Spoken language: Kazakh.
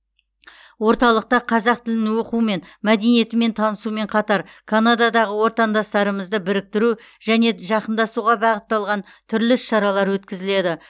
орталықта қазақ тілін оқу мен мәдениетімен танысумен қатар канададағы отандастарымызды біріктіру және жақындасуға бағытталған түрлі іс шаралар өткізіледі